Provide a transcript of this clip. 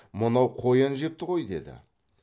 мынау қоян жепті ғой деді